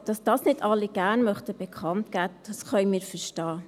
Dass dies nicht alle gerne bekannt geben möchten, können wir verstehen.